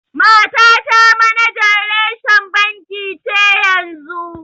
Matata manajan reshen banki ce yanzu.